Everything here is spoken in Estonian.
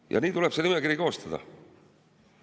Ja nii tuleb see nimekiri koostada.